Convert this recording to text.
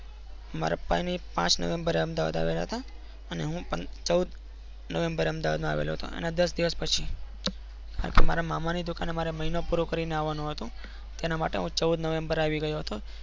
માર પપ્પા ની પાંચ નવેમ્બેરે અમદાવાદ આવ્યા હતા ને હું ચૌદ નવેમ્બેરેન અમદાવાદ આવ્યા હતો એમના દસ દિવસ પસી કારણ કે મારા મામા ની દુકાને મહિનો પૂરો કરીને આવા નું હતો. તેના માટે હું ચૌદ નવેમ્બેરે આવીયો હતો.